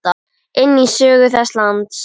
inn í sögu þessa lands.